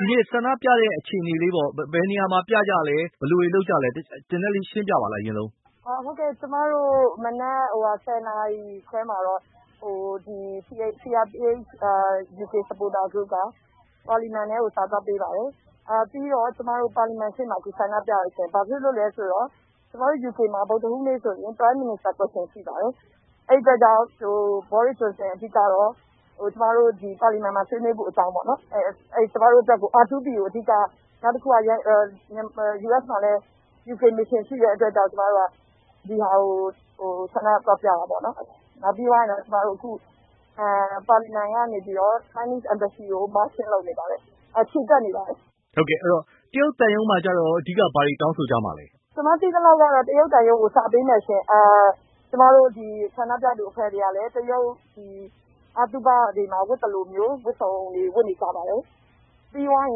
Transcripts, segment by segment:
ဒီနေ့ဆန္ဒပြတဲ့အခြေအနေလေးပေါ့။ ဘယ်နေရာမှာပြကြလည်း။ ဟုတ်ကဲ။ ဒီနေ့ မနက် ၁ဝနာရီလောက်မှာ CRPH ဂရု့က ပါလီမန်ထဲကို စာသွားပေးပါတယ်။ ပြီးတော့ ပါလီမန်ရှေ့မှာ ဆန္ဒပြကြပါတယ်။ ဘာဖြစ်လို့လည်းဆိုတော့ ကျမတို့ UK မှာ ဗုဒ္ဓဟူးနေ့ဆိုရင် Prime Minister Question ရှိပါတယ်။ အဲဒီအတွက်ကြောင့် ဝန်ကြီးချုပ် ဘောရစ်ဂျွန်ဆင် ပါလီမန်မှာဆွေးနွေးဖို့အတွက်ပါ။ အဓိက R2P ကို ဆွေးနွေးဖို့အတွက်ပါ။ US မှာလည်း UK မစ်ရှင်ရှိတဲ့အတွက် ဒီဟာကို ဆန္ဒပြရတာပါ။ အဲဒီနောက် ပါလီမန်ကနေပြီး တရုတ်သံရုံးကို ချီတက်နေပါတယ်။ တရုတ်သံရုံးမှာရော အဓိက ဘာတွေတောင်းဆိုကြမှာလဲ။ ရုတ်သံရုံးကိုစာပေးမယ်ရှင့်။ ကျမတို့ ဆန္ဒပြသူတွေကလည်း တရုတ်အသုဘတွေမှာ ဝတ်သလိုမျိုး ဝတ်စုံတွေဝတ်နေကြပါတယ်။ ပြီးသွားရ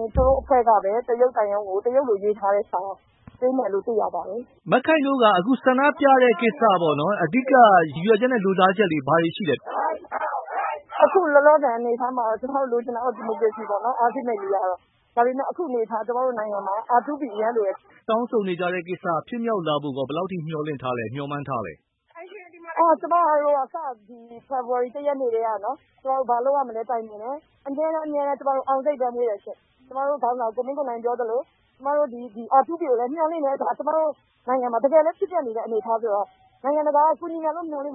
င် တရုတ်သံရုံးကို တရုတ်လိုရေးထားတဲ့စာတွေပေးမယ်လို့သိရပါတယ်။ အဓိက တရုတ်သံရုံးကို ဆန္ဒပြတဲ့ကိစ္စက ရည်ရွယ်ချက်နဲ့ လိုလားချက်တွေဘာတွေရှိလဲ။ ခုလောလောဆယ်အခြေအနေကတော့ ကျမတို့လိုလားတာ ဒီမိုကရေစီပဲပေါ့နော်။ အခုအနေအထားမှာ ကျမတို့နိုင်ငံမှာ R2P အရမ်းလိုအပ်ပါတယ်။ တောင်းဆိုနေကြတာတွေဖြစ်မြောက်လာဖို့ရော ဘယ်လောက်အထိမျှော်မှန်းထားလဲ။ ကျမတို့ကတော့ စတဲ့ ဖေဖော်ဝါရီ ရက်နေ့ကတည်းက တိုင်ပင်တယ်။ အမြဲတန်းအောင်စိတ်ပဲမွေးတယ်။ ကျမတို့ခေါင်းဆောင် ကိုမင်းကိုနိုင် ပြောသလို R2P ကိုလည်းမျှော်လင့်တယ်။ တကယ်လည်းဖြစ်ပျက်နေတဲ့အနေအထားဆိုတော့။ နိုင်ငံတကာက ကူညီမယ်လို့ မျှော်လင့်